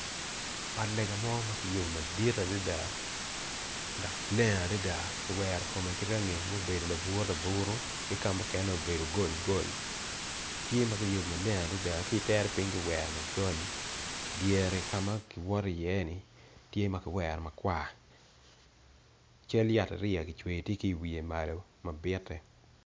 Ot lega mo makiyubo madit adada dok leng adada kiwero kome kirangi ma obedo lauru laburu ki kamukene obedo gold gold tye makiyubo maleng adada kitere ping kiwero macol idyere kama kiwoto i ye ni tye makiwero makwar cal yat ariya gicweyo tye ki wiye malo mabite.